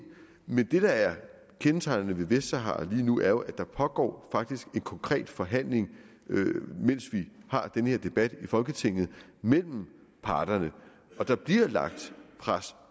men det der er kendetegnet ved vestsahara lige nu er jo at der faktisk pågår en konkret forhandling mens vi har den her debat i folketinget mellem parterne og der bliver lagt pres